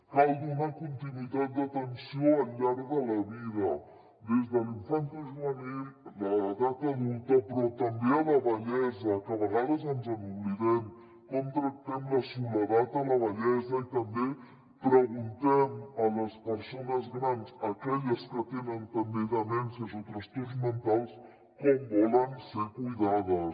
cal donar continuïtat d’atenció al llarg de la vida des de la infantojuvenil a l’edat adulta però també a la vellesa que a vegades ens n’oblidem com tractem la soledat a la vellesa i també que preguntem a les persones grans aquelles que tenen també demències o trastorns mentals com volen ser cuidades